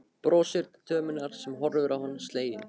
Brosir til dömunnar sem horfir á hann slegin.